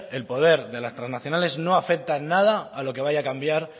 el poder de las trasnacionales no afecta en nada a lo que vaya a cambiar